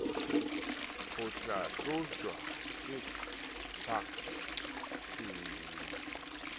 ho hlahlojwa ke pac e